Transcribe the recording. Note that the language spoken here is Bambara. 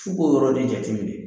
F'u ko yɔrɔ de jate minɛ.